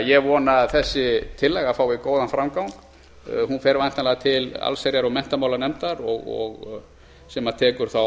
ég vona því að þessi tillaga fái góðan framgang hún fer væntanlega til allsherjar og menntamálanefndar sem tekur þá